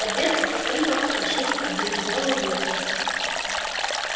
по дверце со скрипом прошлись обледенелые ветки